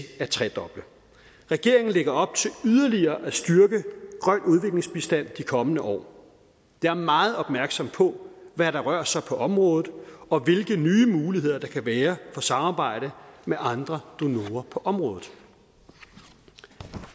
at tredoble regeringen lægger op til yderligere at styrke grøn udviklingsbistand de kommende år jeg er meget opmærksom på hvad der rører sig på området og hvilke nye muligheder der kan være for samarbejde med andre donorer på området